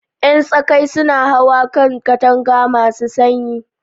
Ƴan tsaƙaƴ suna hawa kan katanga masu sanyi.